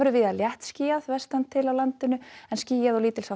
víða léttskýjað vestantil á landinu en skýjað og